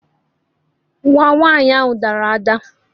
Nwa nwanyi ahu dara ada